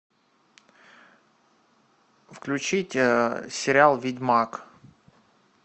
включить сериал ведьмак